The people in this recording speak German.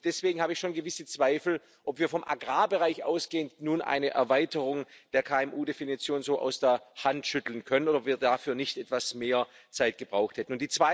Und deswegen habe ich schon gewisse Zweifel, ob wir vom Agrarbereich ausgehend nun eine Erweiterung der KMU Definition so aus der Hand schütteln können oder ob wir dafür nicht etwas mehr Zeit gebraucht hätten.